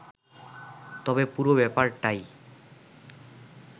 তবে পুরো ব্যাপারটাই